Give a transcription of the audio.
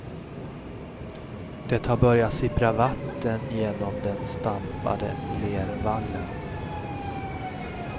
Det har börjat sippra vatten genom den stampade lervallen.